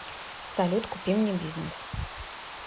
салют купи мне бизнес